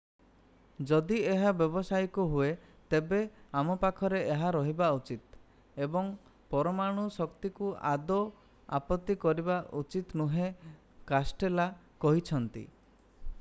ଯଦି ଏହା ବ୍ୟବସାୟିକ ହୁଏ ତେବେ ଆମ ପାଖରେ ଏହା ରହିବା ଉଚିତ୍ ଏବଂ ପରମାଣୁ ଶକ୍ତିକୁ ଆଦୋ ଆପତ୍ତି କରିବା ଉଚିତ ନୁହେଁ କାଷ୍ଟେଲୋ କହିଛନ୍ତି